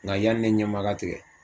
Nka yanni ne ɲɛma ka tigɛ